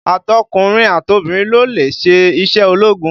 Àtọkùnrin àtọbìrin ló lè ṣe iṣẹ́ ológun